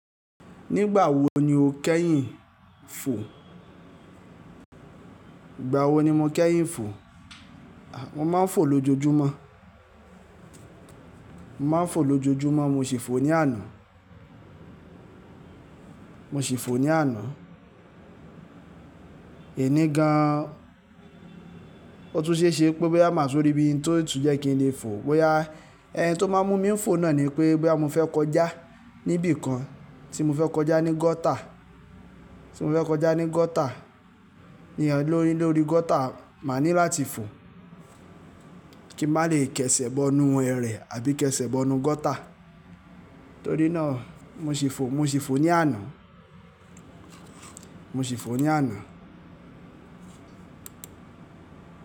Nígbà wo ni o kẹ́yìn fò? Ìgbà wo ni mo kẹ́yìn fò? Mo máa ń fò lójojúmọ́. Mo máa ń fò lójojúmọ́, mo sì fò ní àná. Mo sì fò ní àná. Eni gan-an, ó tún ṣéṣe pé boyá máa tun rí bii n tó tún jẹ́ kí n lè fò. Bóyá ẹni tó máa mú mi ń fò náà ni pé bóyá mo fẹ́ kọjá níbi kan, tí mo fẹ́ kọjá ní gọ́tà, tí mo fẹ́ kọjá ní gọ́tà, ni ẹni lórí, lórí gọ́tà máa ní láti fò kí n má lè kẹṣẹ̀ bọnu ẹrẹ̀ àbí kẹṣẹ̀ bọnu gọ́tà. Torí náà mo sì fò, mo sì fò ní àná. Mo sì fò ní àná.